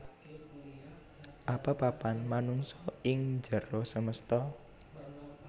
Apa papan manungsa ing njero semesta